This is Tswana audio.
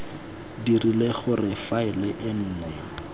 dirile gore faele e nne